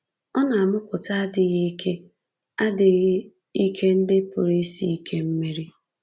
Ọ na-amụpụta adịghị ike adịghị ike ndị pụrụ isi ike meri.